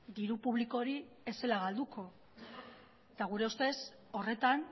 diru publiko hori ez zela galduko eta gure ustez horretan